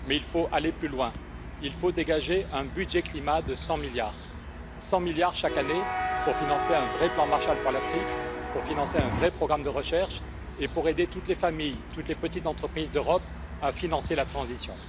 Mais il faut aller plus loin il faut dégager un budget climat de 100⁰milliards chaque année pour financer un vrai plan Marshall pour l'Afrique, pour financer un vrai programme de recherche et pour aider toutes les familles, toutes les petites entreprises d'Europe à financer la transition.